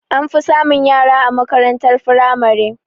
An fi samun yara a makarantar firamare